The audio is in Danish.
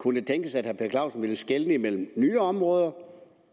kunne det tænkes at herre per clausen ville skelne imellem nye områder